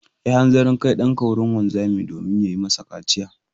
Yi hanzarin kai ɗanka wurin wanzami domin ya yi masa kaciya.